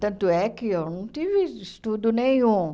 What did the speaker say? Tanto é que eu não tive estudo nenhum.